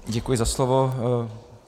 Děkuji za slovo.